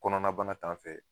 Kɔnɔna bana t'an fɛ.